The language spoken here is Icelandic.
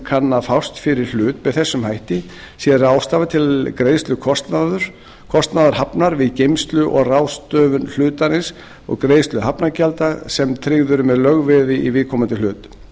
kann að fást fyrir hlut með þessum hætti sé ráðstafað til greiðslu kostnaðar hafnar við geymslu og ráðstöfun hlutarins og greiðslu hafnargjalda sem tryggð eru með lögveði í viðkomandi hlut